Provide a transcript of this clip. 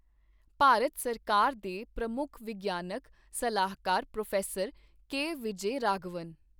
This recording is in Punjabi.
ਭਾਰਤ ਸਰਕਾਰ ਦੇ ਪ੍ਰਮੁੱਖ ਵਿਗਿਆਨਕ ਸਲਾਹਕਾਰ ਪ੍ਰੋਫ਼ੈਸਰ ਕੇ ਵਿਜੈ ਰਾਘਵਨ